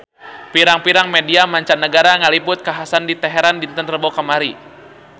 Pirang-pirang media mancanagara ngaliput kakhasan di Teheran dinten Rebo kamari